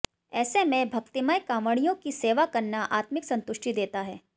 ऐसे में भक्तिमय कावडिय़ों की सेवा करना आत्मिक संतुष्टि देता है